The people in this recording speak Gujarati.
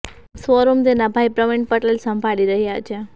શો રૂમ તેના ભાઇ પ્રવિણ પટેલ સંભાળી રહ્યા છે